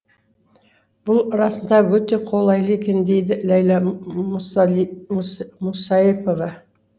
бұл расында өте қолайлы екен дейді ләйлә мұсаипова